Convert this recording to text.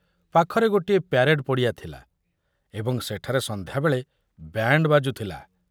ପାଖରେ ଗୋଟିଏ ପ୍ୟାରେଡ଼ ପଡ଼ିଆ ଥିଲା ଏବଂ ସେଠାରେ ସନ୍ଧ୍ୟାବେଳେ ବ୍ୟାଣ୍ଡ ବାଜୁଥିଲା।